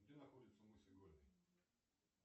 где находится мыс игольный